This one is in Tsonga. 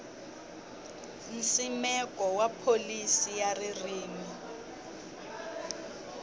nsimeko wa pholisi ya ririmi